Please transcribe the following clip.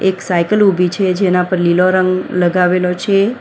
એક સાયકલ ઉભી છે જેના પર લીલો રંગ લગાવેલો છે.